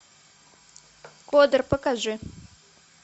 кодр покажи